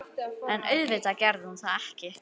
En auðvitað gerði hún það ekki.